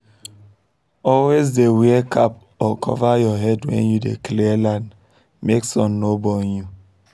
always dey wear cap or cover your head when you dey clear land make sun no burn you